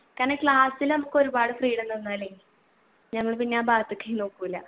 കാരണം class ൽ നമ്മക്കൊരുപാട് freedom തന്നാലേ ഞങ്ങള് പിന്നെ ആ ഭാഗത്ത് ക്കെ നോക്കൂല